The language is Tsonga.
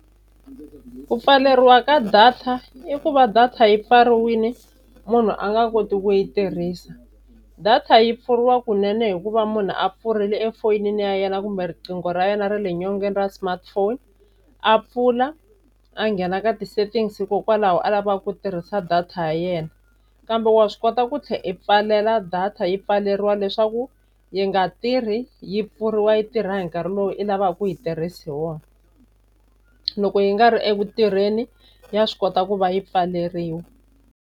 Ku pfaleriwa ka data i ku va data yi pfariwile munhu a nga koti ku yi tirhisa. Data yi pfuriwa kunene hikuva munhu a pfurile efoyinini ya yena kumbe riqingho ra yena ra le nyongeni ra smartphone a pfula a nghena ka ti-settings hikokwalaho a lavaka ku tirhisa data ya yena. Kambe wa swi kota ku tlhela i pfalela data yi pfaleriwa leswaku yi nga tirhi yi pfuriwa yi tirha hi nkarhi lowu i lavaka ku yi tirhisa hi wona. Loko yi nga ri eku tirheni ya swi kota ku va yi pfaleriwa.